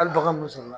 Hali bagan mun sɔrɔ